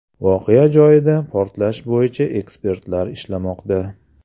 Voqea joyida portlash bo‘yicha ekspertlar ishlamoqda.